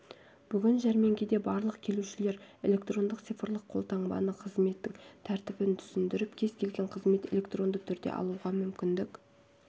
бүгін жәрмеңкеде барлық келушілер электрондық цифрлық қолтаңбаны қызметтің тәртібін түсіндіріп кез-келген қызметті электронды түрде алуға мүмкіндік